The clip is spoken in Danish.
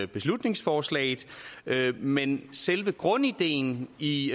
beslutningsforslaget men selve grundideen i